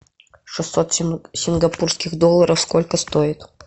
шестьсот сингапурских долларов сколько стоит